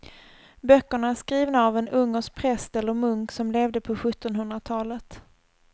Böckerna är skrivna av en ungersk präst eller munk som levde på sjuttonhundratalet.